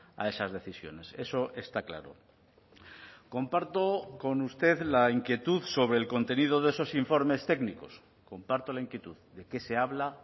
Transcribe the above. a esas decisiones eso está claro comparto con usted la inquietud sobre el contenido de esos informes técnicos comparto la inquietud de qué se habla